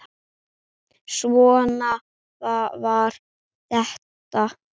Svona var þetta.